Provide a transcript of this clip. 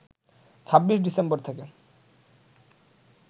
২৬ December থেকে